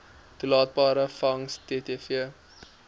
toelaatbare vangs ttv